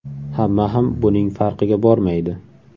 Hamma ham buning farqiga bormaydi.